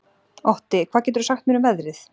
Otti, hvað geturðu sagt mér um veðrið?